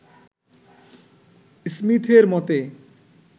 স্মীথের মতে